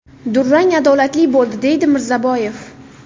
Durang adolatli bo‘ldi”, deydi Mirzaboyev.